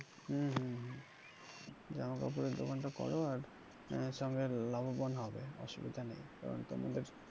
হম হম হম জামা কাপড়ের দোকানটা করো আর আহ সঙ্গে লাভবান হবে, অসুবিধা নেই কারন তোমাদের,